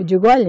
Eu digo olha